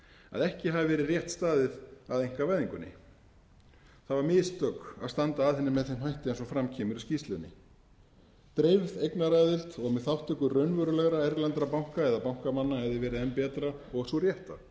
að ekki hafi verið rétt staðið að einkavæðingunni það voru mistök að standa að henni með þeim hætti sem fram kemur í skýrslunni dreifð eignaraðild og með þátttöku raunverulegra erlendra banka eða bankamanna hefði verið enn betra og sú rétta